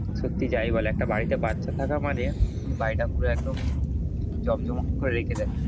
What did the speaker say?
সত্যি যাই বল একটা বাড়িতে বাচ্চা থাকা মানে বাড়িটা পুরো একদম জমজমাট করে রেখে দেয়।